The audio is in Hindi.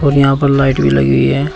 यहां पर लाइट भी लगी हुई है।